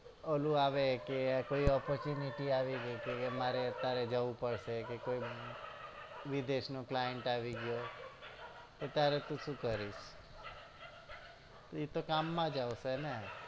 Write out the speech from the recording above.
ઓલું આવે કે કોઈ opportunity તારે જવું પડશે કે વિદેશ નો client આવી ગયો ગયો એ ત્યરે તુ શું કરીશ એ તો કામ માં આવશે ને